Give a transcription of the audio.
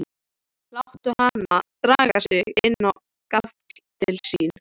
Láta hana draga sig inn á gafl til sín.